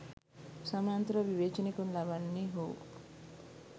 සමාන්තරව විවේචනය කරනු ලබන්නේ හෝ